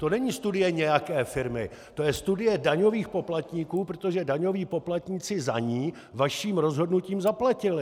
To není studie nějaké firmy, to je studie daňových poplatníků, protože daňoví poplatníci za ni vaším rozhodnutím zaplatili.